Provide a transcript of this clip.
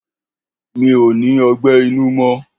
Mi ò ní ọgbẹ́ inú mọ